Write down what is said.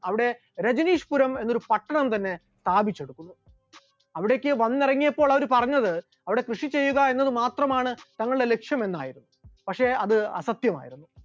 അവിടെ രജനീഷ് പുരം എന്നൊരു പട്ടണം തന്നെ സ്ഥാപിച്ചെടുത്തു, അവിടേക്ക് വന്നിറങ്ങിയപ്പോൾ അവർ പറഞ്ഞത് അവിടെ കൃഷിചെയ്യുക എന്നത് മാത്രമാണ് തങ്കളുടെ ലക്ഷ്യമെന്നായിരുന്നു, പക്ഷെ അത് അസത്യമായിരുന്നു.